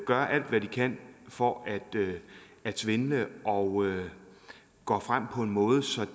gør alt hvad de kan for at at svindle og går frem på en måde så